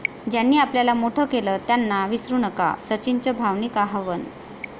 ज्यांनी आपल्याला मोठं केलं त्यांना विसरू नका, सचिनचं भावनिक आवाहन